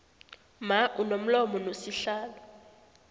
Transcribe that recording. mma unomlomo nosihlalo